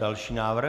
Další návrh.